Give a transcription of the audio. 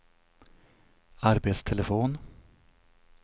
arbetstelefon